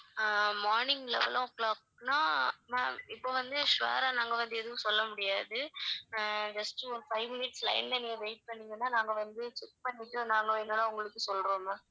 ஆஹ் morning eleven o'clock னா ma'am இப்ப வந்து sure ஆ நாங்க வந்து எதுவும் சொல்ல முடியாது அஹ் just ஒரு five minutes line ல நீங்க wait பண்ணிங்கனா நாங்க வந்து check பண்ணிட்டு நாங்க என்னனா உங்களுக்கு சொல்றோம் ma'am